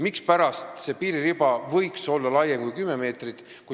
Mispärast see piiririba võiks olla laiem kui 10 meetrit?